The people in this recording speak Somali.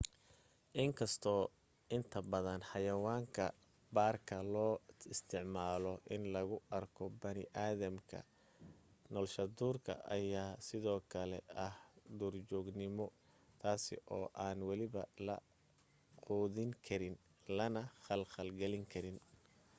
inkastoo inta badan xayawaanka baarka loo isticmaalo in lagu arko bani aadamka nolshaduurka ayaa sido kale ah duurjoognimo taasi oo aan weliba la quudin karin lana khalkhal galin karin